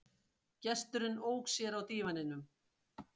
Gesturinn ók sér á dívaninum.